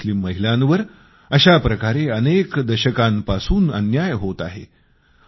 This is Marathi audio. मुस्लिम महिलांवर अशाप्रकारेही अनेक दशकांपासून अन्याय होत आहे